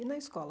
E na escola?